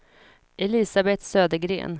Elisabeth Södergren